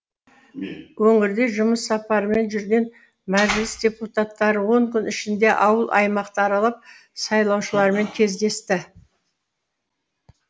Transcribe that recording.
өңірде жұмыс сапарымен жүрген мәжіліс депутаттары он күн ішінде ауыл аймақты аралап сайлаушылармен кездесті